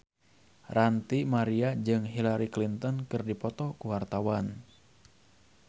Ranty Maria jeung Hillary Clinton keur dipoto ku wartawan